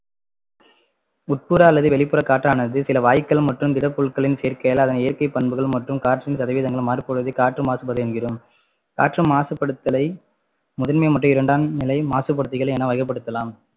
உட்புற அல்லது வெளிப்புற காற்றானது சில வாயுக்கள் மற்றும் திடப்பொருட்களின் சேர்க்கையால் அதன் இயற்கை பண்புகள் மற்றும் காற்றின் சதவீதங்கள் மாறும்போது காற்று மாசுபாடு என்கிறோம் காற்று மாசுபடுத்தலை முதன்மை மற்றும் இரண்டாம் நிலை மாசுபடுத்திகள் என்று வகைப்படுத்தலாம்